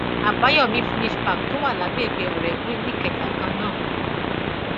àbáyọmí finnish park tó wà lágbègbè ọrẹgun nìkẹjà kan náà